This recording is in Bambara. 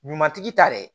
Ɲuman tigi ta dɛ